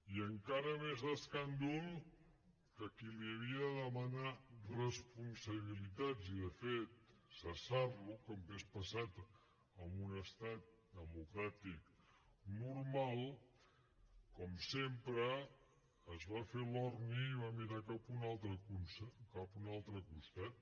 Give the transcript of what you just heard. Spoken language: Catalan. i encara més escàndol que a qui li havia de demanar responsabilitats i de fet cessar lo com hauria passat en un estat democràtic normal com sempre es va fer l’orni i va mirar cap a un altre costat